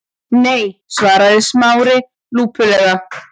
Nei- svaraði Smári lúpulega.